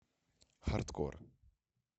хардкор